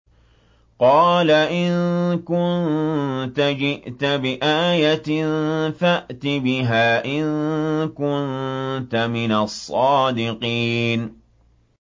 قَالَ إِن كُنتَ جِئْتَ بِآيَةٍ فَأْتِ بِهَا إِن كُنتَ مِنَ الصَّادِقِينَ